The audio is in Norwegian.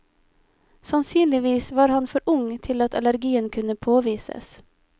Sannsynligvis var han for ung til at allergien kunne påvises.